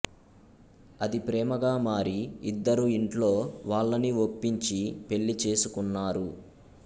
అది ప్రేమగా మారి ఇద్దరూ ఇంట్లో వాళ్ళని ఒప్పించి పెళ్ళి చేసుకున్నారు